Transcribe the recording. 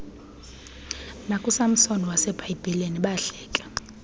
nakusamsoni wasebhayibhileni bahleke